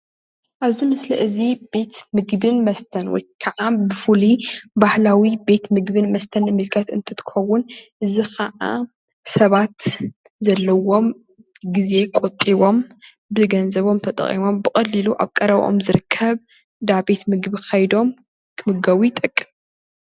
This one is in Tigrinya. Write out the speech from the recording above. ኣብዚ ምስሊ እዚ ቤት ምግብን መስተን ወትከዓ ብፍሉይ ባህላዊ ቤት ምግቢ መስተን እንምልከት እንትከውን እዚ ከዓ ሰባት ዘለዎም ግዜ ቆጢቦም ብገንዘቦም ተጠቂሞም ብቀሊሉ ኣብ ቀረበኦም ዝርከብ እንዳ ቤት ምግቢ ከይዶም ክምገቡ ይጠቅም፡፡